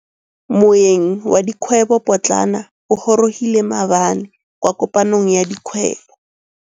Moêng wa dikgwêbô pôtlana o gorogile maabane kwa kopanong ya dikgwêbô.